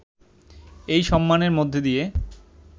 এই সম্মানের মধ্য দিয়ে